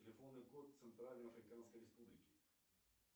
телефонный код центральной африканской республики